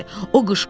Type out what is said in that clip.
O qışqırdı: